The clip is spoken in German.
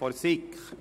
der SiK.